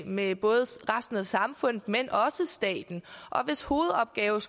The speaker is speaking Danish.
med både resten af samfundet men også staten og hvis hovedopgave